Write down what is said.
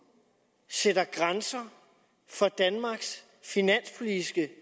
sætter grænser for danmarks finanspolitiske